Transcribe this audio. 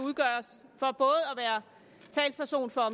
være talsperson for